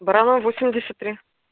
баранова восемьдесят три